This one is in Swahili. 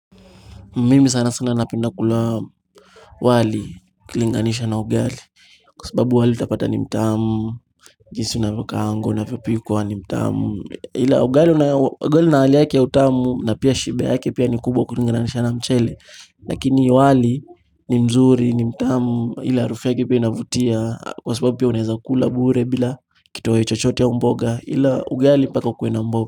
Mimi sana sana napenda kula wali kulinganisha na ugali Kwa sababu wali napata ni mtamu, jinsi unavyo kaangwa unavyo pikwa ni mtamu ila ugali na hali yake ya utamu na pia shibe yake pia ni kubwa kulinganisha na mchele lakini wali ni mzuri ni mtamu ile harufu yake pia inavutia Kwa sababu pia unaeza ukula bure bila kitoweo chochote au mboga ila ugali mpaka ukue na mboga.